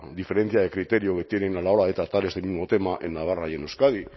diferencia de criterio que tienen a la hora de tratar este mismo tema en navarra y en euskadi